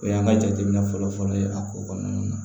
O y'an ka jateminɛ fɔlɔ fɔlɔ ye a ko kɔnɔna na